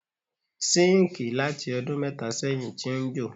Síńkì láti ọdún mẹ́tà sẹ́yìn ti ń jò.